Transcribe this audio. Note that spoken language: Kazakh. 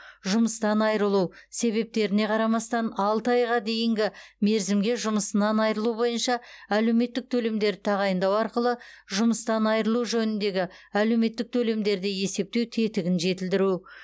жұмыстан айырылу себептеріне қарамастан алты айға дейінгі мерзімге жұмысынан айырылу бойынша әлеуметтік төлемдерді тағайындау арқылы жұмыстан айырылу жөніндегі әлеуметтік төлемдерді есептеу тетігін жетілдіру